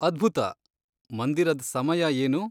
ಅದ್ಭುತ, ಮಂದಿರದ್ ಸಮಯ ಏನು?